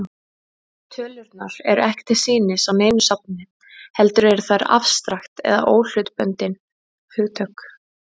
Tölurnar eru ekki til sýnis á neinu safni, heldur eru þær afstrakt eða óhlutbundin hugtök.